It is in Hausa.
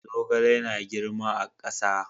Zogale yana girma a ƙasa.